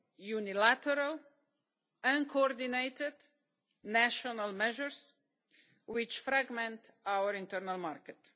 unilateral, uncoordinated national measures which fragment our internal market.